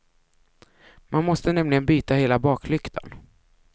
Man måste nämligen byta hela baklyktan.